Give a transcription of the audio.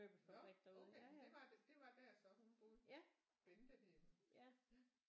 Nå okay det var det det var der hun så boede Bente hed hun